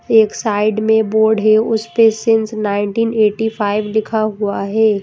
एक साइड में बोर्ड है उस पे सींस नाइनटीन इग्टीफाइव लिखा हुआ है।